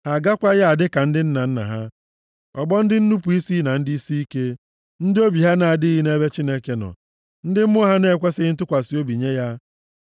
Ha agakwaghị adị ka ndị nna nna ha, ọgbọ ndị nnupu isi na ndị isiike; ndị obi ha na-adịghị nʼebe Chineke nọ, ndị mmụọ ha na-ekwesighị ntụkwasị obi nye ya.